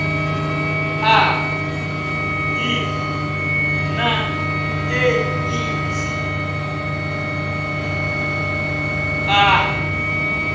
a hiv na eidzi u